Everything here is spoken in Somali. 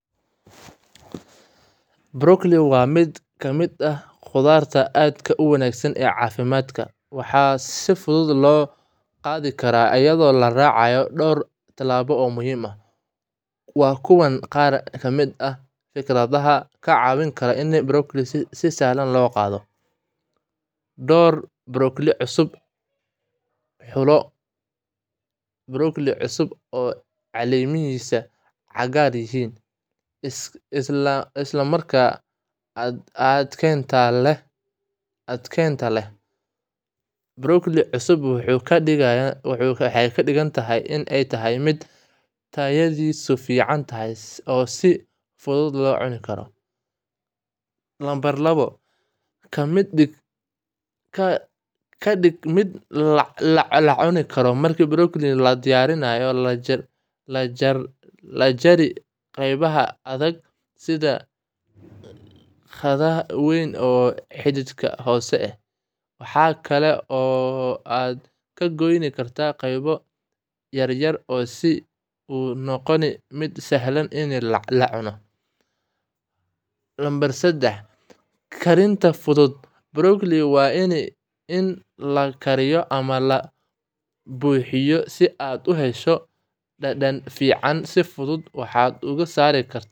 Brokolli waa mid ka mid ah khudaarta aad u wanaagsan ee caafimaadka, waxaana si fudud loo qaadi karaa iyadoo la raacayo dhowr talaabo oo muhiim ah. Waa kuwan qaar ka mid ah fikradaha kaa caawin kara in brokolli si sahlan loo qaado: Dooro brokolli cusub: Xulo brokolli cusub oo caleemihiisu cagaaran yihiin isla markaana adkaanta leh. Brokolli cusub waxay ka dhigan tahay inay tahay mid tayadiisu fiican tahay oo si fudud loo cuni karo. Ka dhig mid la cuni karo: Marka brokolli la diyaariyo, ka jari qeybaha adag sida xadhkaha weyn iyo xididka hoose. Waxa kale oo aad ku goyn kartaa qaybo yaryar si ay u noqoto mid sahlan in la cuno. Karinta fudud: Brokolli waa in la kariyo ama la buuxiyo si aad u hesho dhadhan fiican. Si fudud, waxaad ku karsan kartaa biyo.